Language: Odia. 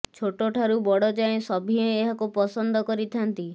ଛୋଟ ଠାରୁ ବଡ଼ ଯାଏଁ ସଭିଏ ଏହାକୁ ପସନ୍ଦ କରିଥାନ୍ତି